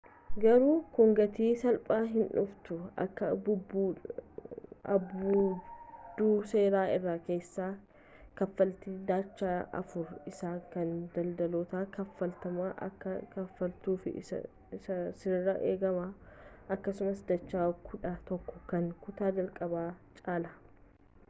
garuu kun gatii salphaan hin dhufu akka abbuudduu seera irra keessaa kaffaltii dacha afur isaa kan daldaltootan kafaalamutti akka kafaaltuf sirraa eegamaa akkasuma dacha kudha tokko kan kutaa jalqaba caalaa